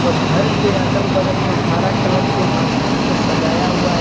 घर के अगल बगल में हरा कलर के मारकीन से सजाया हुआ है।